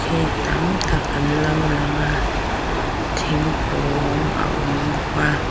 mi tam tak an lo lang a thingkung a awm bawk a.